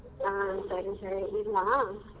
ಹಾ ಸರಿ ಸರಿ ಇಡ್ಲಾ.